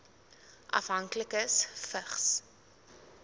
afhanklikes vigs